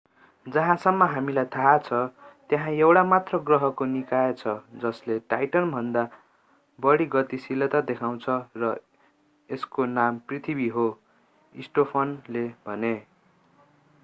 जहाँसम्म हामीलाई थाहा छ त्यहाँ एक मात्र ग्रहको निकाय छ जसले टाइटनभन्दा बढी गतिशीलता देखाउँछ र यसको नाम पृथ्वी हो स्टोफानले थपे